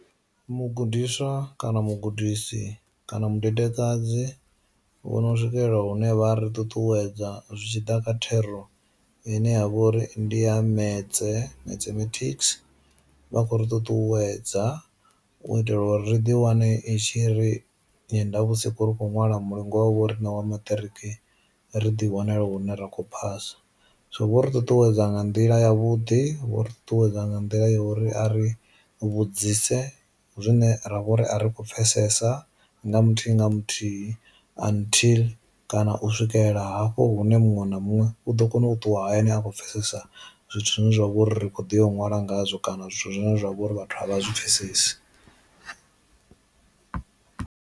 Mugudiswa kana mugudisi kana mudedekadzi vhono swikelela hune vha ri ṱuṱuwedza zwitshiḓa kha thero ine ya vha uri ndi ya metse mathematics, vha khou ri ṱuṱuwedza u itela uri ri ḓi wane i tshi ri nyendo vhusi khou ri kho ṅwala mulingo havho ri na wa maṱiriki ri ḓi wanela hune ra kho phasa. So vho ri ṱuṱuwedza nga nḓila ya vhuḓi vho ri ṱuṱuwedza nga nḓila ya uri a ri vhudzise zwine ra vha uri a ri kho pfesesa nga muthihi nga muthihi until kana u swikelela hafho hune muṅwe na muṅwe u ḓo kona u ṱuwa hayani a kho pfesesa zwithu zwine zwa vha uri ri kho ḓi u ṅwala ngazwo kana zwithu zwine zwa vha uri vhathu a vha zwi pfhesesi.